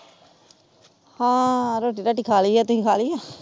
ਹਾਂ ਰੋਟੀ ਰਾਟੀ ਖਾਲੀ ਆ ਤੁਸੀਂ ਖਾਲੀ ਆ?